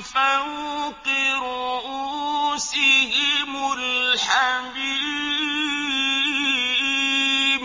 فَوْقِ رُءُوسِهِمُ الْحَمِيمُ